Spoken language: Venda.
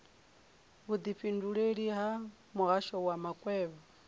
vhudifhinduleleli ha muhasho wa makwevho